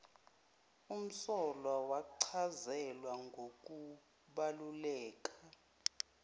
umsolwa wachazelwa ngokubaluleka